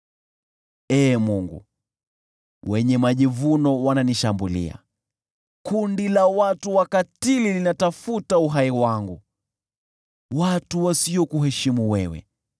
Ee Mungu, wenye majivuno wananishambulia; kundi la watu wakatili linatafuta uhai wangu: watu wasiokuheshimu wewe.